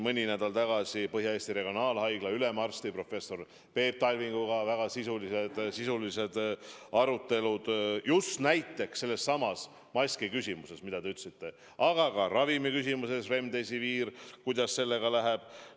Mõni nädal tagasi olid meil Põhja-Eesti Regionaalhaigla ülemarsti professor Peep Talvinguga väga sisulised arutelud sellessamas maskiküsimuses, mida te märkisite, aga ka remdesiviiri küsimuses, kuidas selle ravimiga läheb.